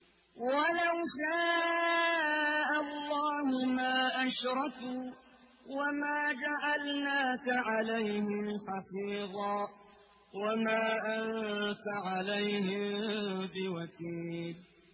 وَلَوْ شَاءَ اللَّهُ مَا أَشْرَكُوا ۗ وَمَا جَعَلْنَاكَ عَلَيْهِمْ حَفِيظًا ۖ وَمَا أَنتَ عَلَيْهِم بِوَكِيلٍ